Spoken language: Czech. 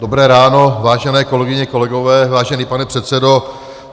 Dobré ráno, vážené kolegyně, kolegové, vážený pane předsedo.